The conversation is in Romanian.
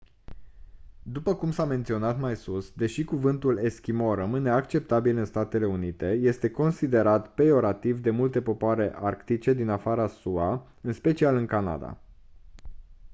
după cum s-a menționat mai sus deși cuvântul «eschimo» rămâne acceptabil în statele unite este considerat peiorativ de multe popoare arctice din afara sua în special în canada.